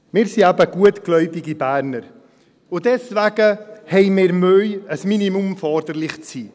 – Wir sind eben gutgläubige Berner und deswegen haben wir Mühe, ein Minimum fordernd zu sein.